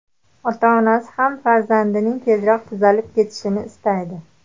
Ota-onasi ham farzandining tezroq tuzalib ketishini istaydi.